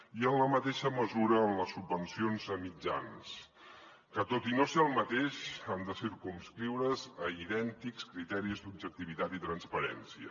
i en la mateixa mesura en les subvencions a mitjans que tot i no ser el mateix han de circumscriure’s a idèntics criteris d’objectivitat i transparència